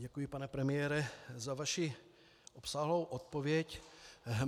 Děkuji, pane premiére, za vaši obsáhlou odpověď.